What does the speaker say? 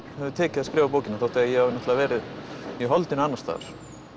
hefur tekið að skrifa bókina þótt að ég hafi náttúrulega verið í holdinu annars staðar